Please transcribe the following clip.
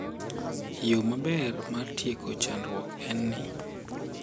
Yo maber mar tieko chandruokni en ni,